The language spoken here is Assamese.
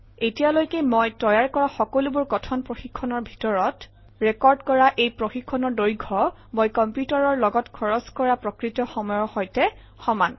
এতিয়ালৈকে মই তৈয়াৰ কৰা সকলোবোৰ কথন প্ৰশিক্ষণৰ ভিতৰত ৰেকৰ্ড কৰা এই প্ৰশিক্ষণৰ দৈৰ্ঘ্য মই কম্পিউটাৰৰ লগত খৰচ কৰা প্ৰকৃত সময়ৰ সৈতে সমান